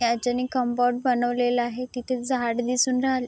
हेच्यानि compound बनवलेल आहे तिथे झाड दिसून राहील --